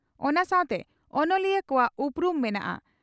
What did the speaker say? ᱚᱱᱟ ᱥᱟᱣᱛᱮ ᱚᱱᱚᱞᱤᱭᱟᱹ ᱠᱚᱣᱟᱜ ᱩᱯᱨᱩᱢ ᱢᱮᱱᱟᱜᱼᱟ ᱾